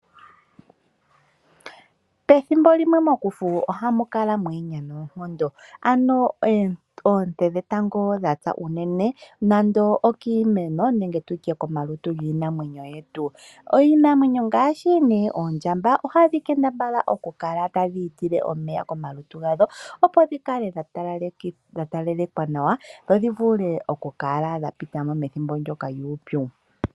Pethimbo limwe mokufu ohamu kala mwa ye ya noonkondo ano oonte dhetango dha tsa unene nando okiimeno nenge tu tye komalutu giinamwenyo yetu. Iinamwenyo ngaashi oondjamba ohadhi kambadhala dhi kale tadhi itile omeya komalutu gadho opo dhi kale dha talalekwa nawa dho dhi vule okupita mo ethimbo ndyoka lyuupyu.